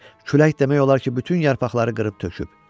Külək demək olar ki, bütün yarpaqları qırıb töküb.